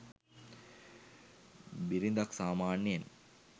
බිරිඳක් සාමාන්‍යයෙන්